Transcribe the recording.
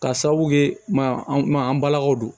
Ka sababu kɛ man an balakaw don